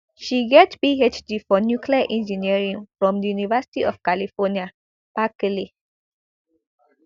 she get phd for nuclear engineering from di university of california berkeley